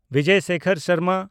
Bijoy Sekhar Sharma